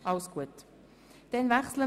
Das ist der Fall.